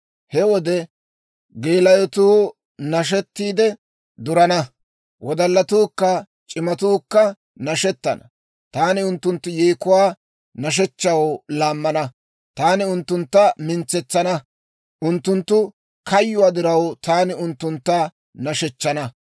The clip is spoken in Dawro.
He wode geelayotuu nashettiide durana; wodallatuukka c'imatuukka nashettana. Taani unttunttu yeekuwaa nashshechchaw laammana; taani unttuntta mintsetsana; unttunttu kayyuwaa diraw taani unttuntta nashshechchana.